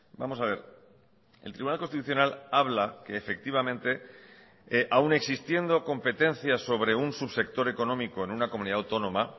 vamos a ver el tribunal constitucional habla que efectivamente aun existiendo competencias sobre un subsector económico en una comunidad autónoma